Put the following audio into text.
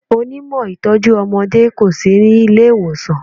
Onímọ̀ ìtọ́jú ọmọdé kò sí nílé ìwòsàn.